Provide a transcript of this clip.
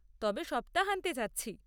তবে সপ্তাহান্তে যাচ্ছি।